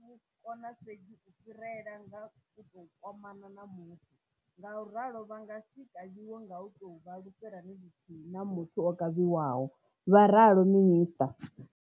Vhu kona fhedzi u fhirela nga u tou kwamana na muthu, ngauralo vha nga si kavhiwe nga u tou vha lufherani luthihi na muthu o kavhiwaho, vha ralo minisṱa.